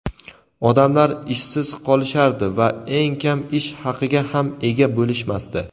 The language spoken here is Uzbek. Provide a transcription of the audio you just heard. odamlar ishsiz qolishardi va eng kam ish haqiga ham ega bo‘lishmasdi.